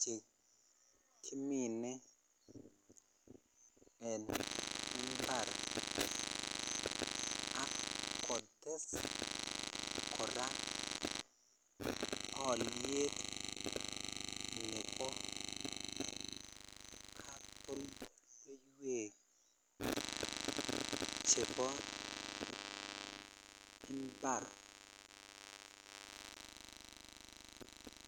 chekimine en imbar ak kotes kora aliet Nebo chebo imbar